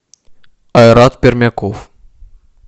айрат пермяков